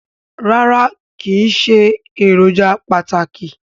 Rárá kìí ṣe èròjà pàtàkì